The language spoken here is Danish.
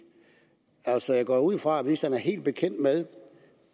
altså jeg går ud fra at ministeren er helt bekendt med